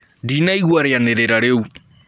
Ndĩnaĩgũa rĩanĩrĩra rĩũ